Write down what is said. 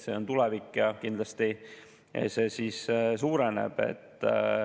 See on tulevik ja kindlasti see suureneb.